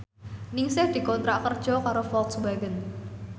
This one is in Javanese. Ningsih dikontrak kerja karo Volkswagen